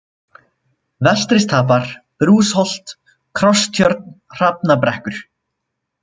Vestristapar, Brúsholt, Krosstjörn, Hrafnabrekkur